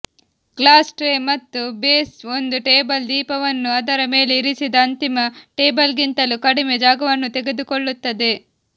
glass tray ಮತ್ತು base ಒಂದು table ದೀಪವನ್ನು ಅದರ ಮೇಲೆ ಇರಿಸಿದ ಅಂತಿಮ ಟೇಬಲ್ಗಿಂತಲೂ ಕಡಿಮೆ ಜಾಗವನ್ನು ತೆಗೆದುಕೊಳ್ಳುತ್ತದೆ